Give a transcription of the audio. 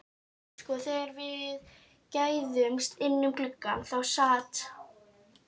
Sko, þegar við gægðumst inn um gluggann þá sat